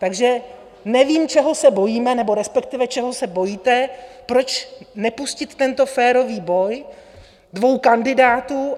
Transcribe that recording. Takže nevím, čeho se bojíme, nebo respektive čeho se bojíte, proč nepustit tento férový boj dvou kandidátů?